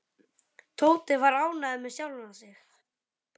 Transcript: Tóti var ánægður með sjálfan sig.